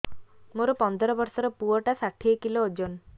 ମୋର ପନ୍ଦର ଵର୍ଷର ପୁଅ ଟା ଷାଠିଏ କିଲୋ ଅଜନ